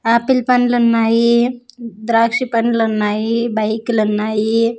Apple పండ్లున్నాయి ద్రాక్ష పండ్లున్నాయి బైకులున్నాయి .